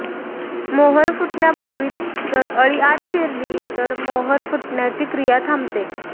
मोहोर फुटण्यापूर्वीच जर अळी आत शिरली तर मोहोर फुटण्याची क्रिया थांबते